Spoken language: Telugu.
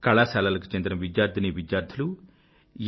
కళాశాలలకు చెందిన విద్యార్థినీవిద్యార్థులు ఎన్